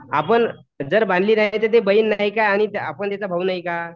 आपण जर बांधली नाही तर ती बहीण नाही का? आपण तिचा भाऊ नाही का?